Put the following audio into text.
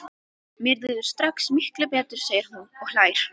Mér líður strax miklu betur, segir hún og hlær.